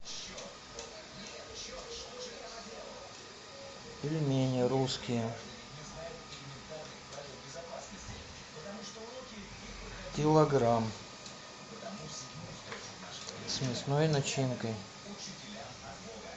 пельмени русские килограмм с мясной начинкой